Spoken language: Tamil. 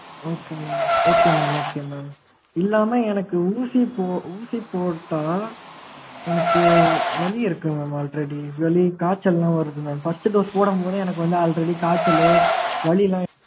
okay mam okay mam okay mam இல்லாம எனக்கு ஊசி போ ஊசி போட்டா எனக்கு வலி இருக்கு mam already really காய்ச்சல்லா வருது mam first dose போடும்போதே எனக்கு வந்து already காய்ச்சல்லு வலிலா